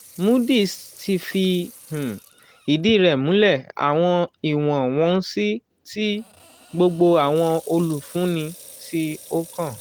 moody's ti fi um idi rẹ mulẹ awọn iwọn-wonsi ti gbogbo awọn olufunni ti o kan.